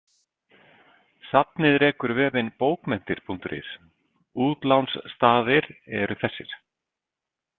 Safnið rekur vefinn bókmenntir.is Útlánsstaðir eru þessir.